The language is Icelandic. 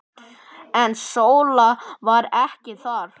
En Sóla var ekki þar.